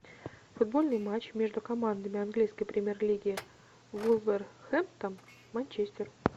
футбольный матч между командами английской премьер лиги вулверхэмптон манчестер